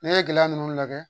N'i ye gɛlɛya ninnu lajɛ